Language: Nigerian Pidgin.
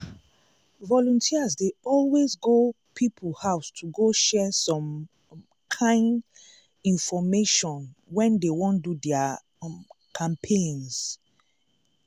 ah! volunteers dey always go people house to go share some um kind infomation when dey wan do their um campaigns.